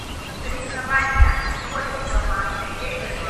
соревнования футбольной команды эвертон